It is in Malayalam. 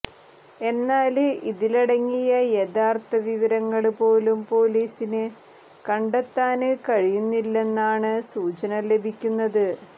എന്നാല് ഇതിലടങ്ങിയ യഥാര്ത്ഥ വിവരങ്ങള് പോലും പോലീസിന് കണ്ടെത്താന് കഴിയുന്നില്ലെന്നാണ് സൂചന ലഭിക്കുന്നത്